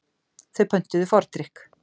Þau pöntuðu fordrykk.